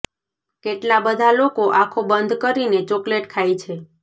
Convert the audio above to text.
કેટલા બધા લોકો આંખો બંધ કરીને ચોકલેટ ખાય છે